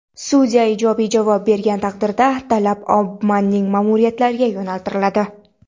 Sudya ijobiy javob bergan taqdirda, talab Obamaning ma’muriyatiga yo‘naltiriladi.